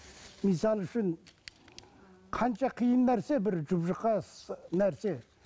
мысалы үшін қанша қиын нәрсе бір жұп жұқа нәрсе